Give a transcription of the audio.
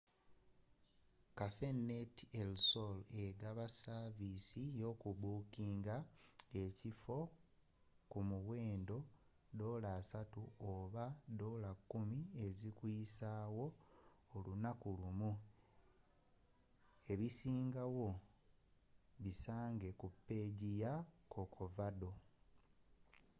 cafenet el sol egaba saviisi yokubookinga ekifo ku muwendo us$30 oba $10 ezikuyisawo olunaku lumu; ebisingawo bisange ku peegi ya corcovado